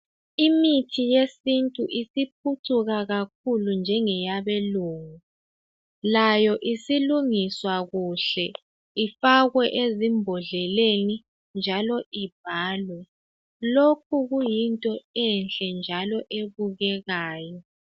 Imithi yesintu isiphucuka kakhulu njengeyabelungu layo isilungiswa kuhle ifakwe ezimbodleleni njalo ibhalwe lokhu kuyinto enhle njalo ebukekayo.